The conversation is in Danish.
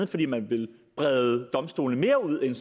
fordi man ville brede domstolene mere ud end